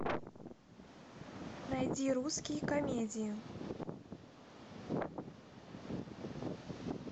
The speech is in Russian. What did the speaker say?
найди русские комедии